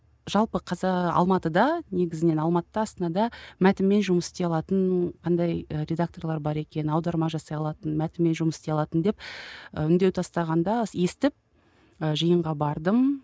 жалпы алматыда негізінен алматыда астанада мәтінмен жұмыс істей алатын қандай ы редакторлар бар екен аударма жасай алатын мәтінмен жұмыс істей алатын деп үндеу тастағанда естіп ы жиынға бардым